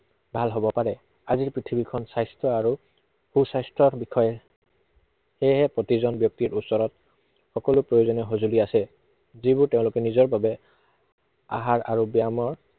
ভাল হব পাৰে। আজিৰ পৃথিৱীখন স্বাস্থ্য আৰু, সু স্বাস্থ্য়ৰ বিষয়ে সেয়েহে প্ৰতিজন ব্য়ক্তিৰ ওচৰত, সকলো প্ৰয়োজনীয় সঁজুলি আছে। যিবোৰ তেওঁলোকে নিজৰ বাবে, আহাৰ আৰু ব্য়ায়মাৰ